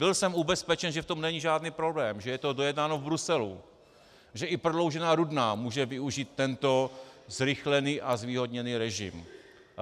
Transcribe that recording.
Byl jsem ubezpečen, že v tom není žádný problém, že je to dojednáno v Bruselu, že i prodloužená Rudná může využít tento zrychlený a zvýhodněný režim.